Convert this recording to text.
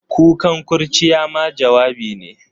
Kukan kurciya ma jawabi ne.